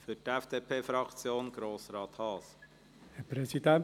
Für die FDP-Fraktion: Grossrat Haas.